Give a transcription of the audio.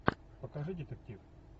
покажи детектив